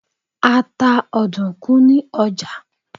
A ta ọ̀dùnkún ní ọjà.